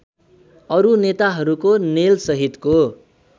अरू नेताहरूको नेलसहितको